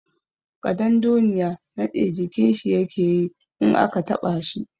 Ƙadandoniya naɗe jikin shi yake yi in aka taɓa shi.